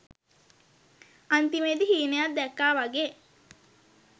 අන්තිමේදී හීනයක් දැක්කා වගේ